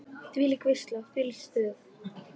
Þvílík veisla, þvílíkt stuð.